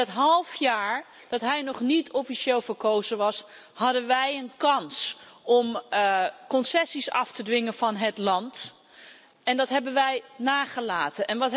In dat half jaar dat hij nog niet officieel verkozen was, hadden wij een kans om concessies af te dwingen van het land en dat hebben wij nagelaten.